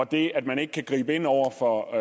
det at man ikke kan gribe ind over for